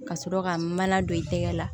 Ka sɔrɔ ka mana don i tɛgɛ la